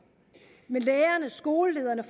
med lærerne skolelederne